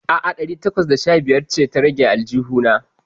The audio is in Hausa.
A'a, ɗari takwas da sha biyar ce ta rage a aljihu na.